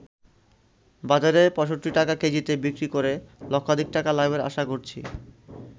বাজারে ৬৫ টাকা কেজিতে বিক্রি করে লক্ষাধিক টাকা লাভের আশা করছি।